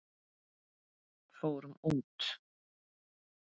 Fórum út!